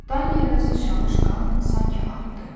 Dan yerinə sıçramış qan sanki artdı.